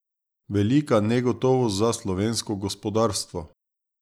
Velika negotovost za slovensko gospodarstvo.